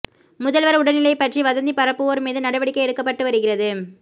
முதல்வர் உடல்நிலை பற்றி வதந்தி பரப்புவோர் மீது நடவடிக்கை எடுக்கப்பட்டு வருகிறது